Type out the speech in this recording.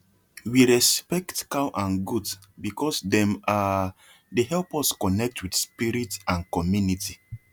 we respect cow and goat because dem um dey help us connect with spirit and community